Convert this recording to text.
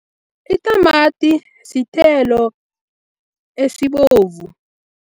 Itamati sithelo esibovu.